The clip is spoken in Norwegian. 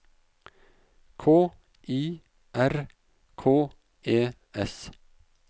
K I R K E S